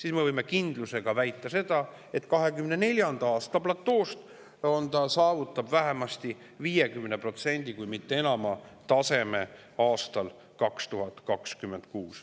Ja me võime täie kindlusega väita, et 2024. aasta tasemest saavutab see aastal 2026 vähemasti 50%, kui mitte enamat.